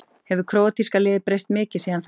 Hefur króatíska liðið breyst mikið síðan þá?